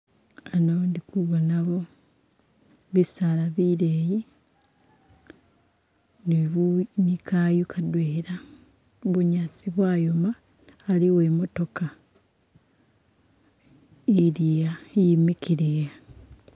Ano ndi kubonawo bisaalaa bileyi ni kayu kadwela, bunyasi bwayoma ali uwemotoka ili a imikile a.